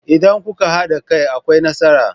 Idan kuka hada kai akwai nasara.